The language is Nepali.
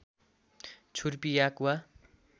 छुर्पी याक वा